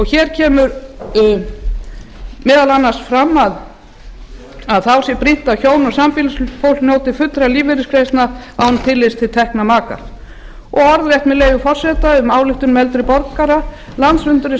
hér kemur meðal annars fram að þá sé brýnt að hjón eða sambýlisfólk njóti fullra lífeyrisgreiðslna án tillits til tekna maka og orðrétt segir með leyfi forseta í ályktun um málefni eldri borgara landsfundur